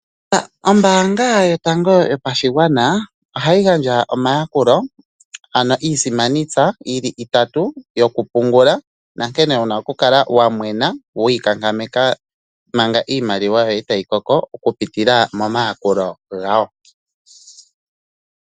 Ombaanga yotango yopashigwana ohayi gandja omayakulo ano iisimani tsa yi li itatu yokupungula, nankene wu na oku kala wa mwena wi inkankameka manga iimaliwa yoye tayi koko okupitila momayakulo gawo.